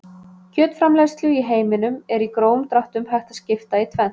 Kjötframleiðslu í heiminum er í grófum dráttum hægt að skipta í tvennt.